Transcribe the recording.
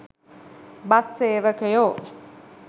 bus සේවකයෝ